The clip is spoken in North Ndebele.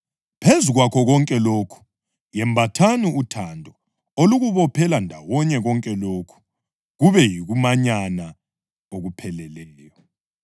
Phezu kwakho konke lokhu yembathani uthando olukubophela ndawonye konke lokhu, kube yikumanyana okupheleleyo.